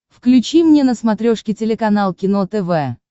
включи мне на смотрешке телеканал кино тв